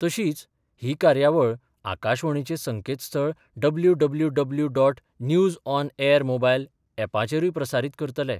तशीच ही कार्यावळ आकाशवाणीचे संकेतस्थळ W W W dot news on air mobile एपाचेरूंय प्रसारीत करतले.